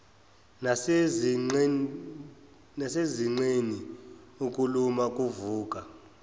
nasezinqeni ukuluma kuvuka